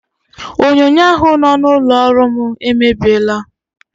Onyonyo ahụ nọ n'ụlọ ọrụ m emebiela.